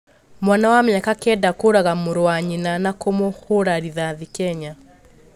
Mwana wa mĩaka Kenda kũraga mũrũ wa nyina na kũmũhũra rithathi Kenya